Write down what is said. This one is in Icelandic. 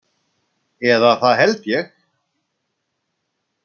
Eða það held ég.